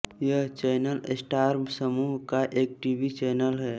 यह channel star समूह का एक टीवी चैनल है